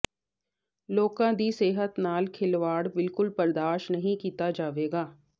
ਲੋਕਾਂ ਦੀ ਸਿਹਤ ਨਾਲ ਖਿਲਵਾੜ ਬਿਲਕੁਲ ਬਰਦਾਸ਼ਤ ਨਹੀਂ ਕੀਤਾ ਜਾਵੇਗਾ